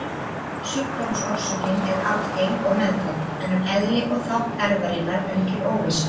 Sjúkdómsorsökin er arfgeng og meðfædd, en um eðli og þátt erfðarinnar ríkir óvissa.